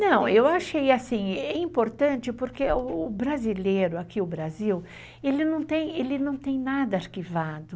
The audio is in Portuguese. Não, eu achei assim, é importante porque o brasileiro, aqui o Brasil, ele não tem nada arquivado.